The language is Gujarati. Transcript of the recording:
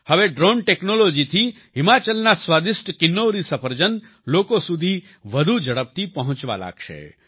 હવે ડ્રોન ટેક્નોલોજી થી હિમાચલના સ્વાદિષ્ટ કિન્નૌરી સફરજન લોકો સુધી વધુ ઝડપથી પહોંચવા લાગશે